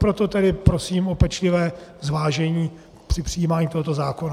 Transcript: Proto tedy prosím o pečlivé zvážení při přijímání tohoto zákona.